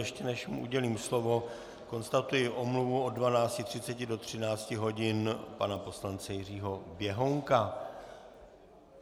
Ještě než mu udělím slovo, konstatuji omluvu od 12.30 do 13 hodin pana poslance Jiřího Běhounka.